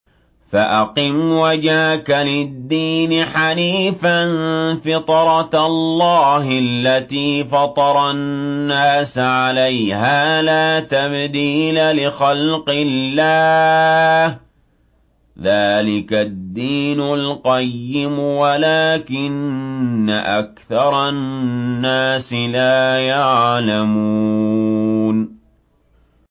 فَأَقِمْ وَجْهَكَ لِلدِّينِ حَنِيفًا ۚ فِطْرَتَ اللَّهِ الَّتِي فَطَرَ النَّاسَ عَلَيْهَا ۚ لَا تَبْدِيلَ لِخَلْقِ اللَّهِ ۚ ذَٰلِكَ الدِّينُ الْقَيِّمُ وَلَٰكِنَّ أَكْثَرَ النَّاسِ لَا يَعْلَمُونَ